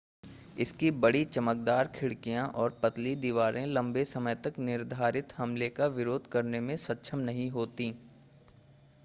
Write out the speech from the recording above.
इसकी बड़ी चमकदार खिड़कियां और पतली दीवारें लंबे समय तक निर्धारित हमले का विरोध करने में सक्षम नहीं होतीं